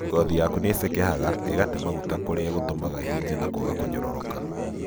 Ngothi yaku nĩcekehaga, ĩgatee maguta kũrĩa gũtũmaga ĩhĩje na kwaga kũnyororoka.